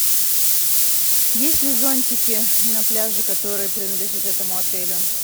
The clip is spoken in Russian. есть ли зонтики на пляже которые принадлежат этому отелю